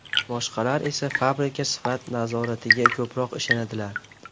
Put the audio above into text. Boshqalar esa fabrika sifat nazoratiga ko‘proq ishonadilar.